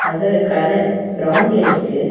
அதோட கலர் பிரவுன்ல இருக்கு.